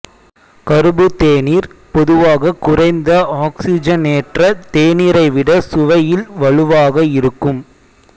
கறுபு தேநீர் பொதுவாக குறைந்த ஆக்ஸிஜனேற்ற தேநீரை விட சுவையில் வலுவாக இருக்கும்